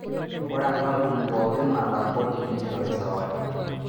Ore enkampuni pookin nalak kodi neishori sawadi.